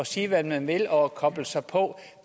sige hvad man vil og koble sig på